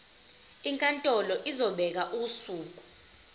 inkantolo izobeka usuku